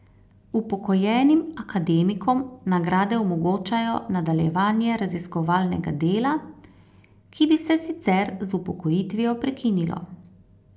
Upokojenim akademikom nagrade omogočajo nadaljevanje raziskovalnega dela, ki bi se sicer z upokojitvijo prekinilo.